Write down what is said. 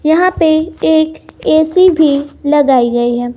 यहां पे एक ए_सी भी लगाई गई है।